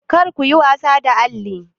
Kar kuyi wasa da alli!